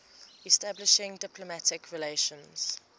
establishing diplomatic relations